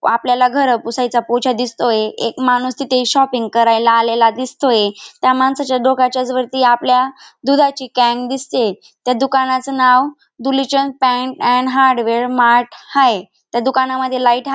आपल्याला घर पुसायचा पोछा दिसतोय एक माणूस तिथ शॉपिंग करायला आलेला दिसतोय त्या माणसाच्या डोक्याच्याच वरती आपल्या दुधाची कॅन्ड दिसतिये त्या दुकानच नाव धुळीचंद अँड हार्डवेअर मार्ट हाये त्या दुकानमध्ये लाइट हाये.